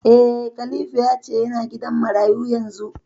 Eh, Khalifa ya ce yana gidan marayu yanzu